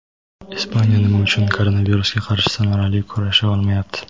Ispaniya nima uchun koronavirusga qarshi samarali kurasha olmayapti?.